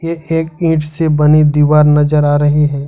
ये एक ईंट से बनी दीवार नजर आ रही है।